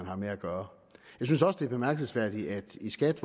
har med at gøre jeg synes også det er bemærkelsesværdigt at de i skat